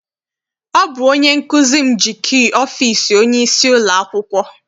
Ọ bụ onye nkụzi m ji kii ọfịịsi onyeisi ụlọakwụkwọ.